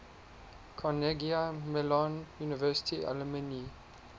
carnegie mellon university alumni